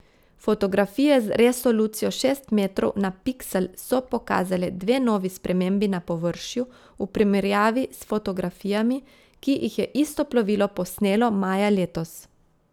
Fotografije z resolucijo šest metrov na piksel so pokazale dve novi spremembi na površju, v primerjavi s fotografijami, ki jih je isto plovilo posnelo maja letos.